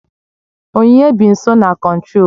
Onyinye bi nso na Kontrol